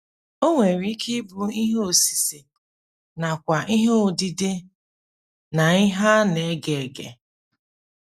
O nwere ike ịbụ ihe osise nakwa ihe odide na ihe a na - ege ege.